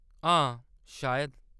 हां, शायद।